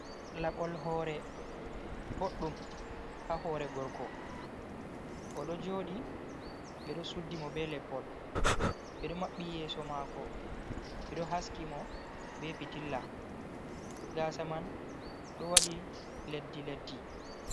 Laɓol hore boɗɗum ha hore gorko o do jodi ɓe do suddi mo be lepol, ɓe ɗo mabbi yeso mako, ɓe do haski mo be pitilla gasa man ɗo wadi leddi leddi.